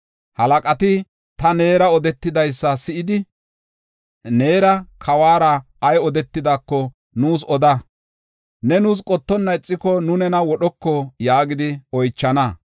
Halaqati ta neera odetidaysa si7idi, ‘Neera kawara ay odetidaako nuus oda. Ne nuus qottonna ixiko, nu nena wodhoko’ yaagidi oychana.